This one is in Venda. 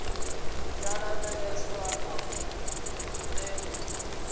ya ṱavhanyesa na u leludza